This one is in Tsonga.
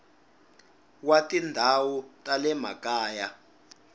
wa tindhawu ta le makaya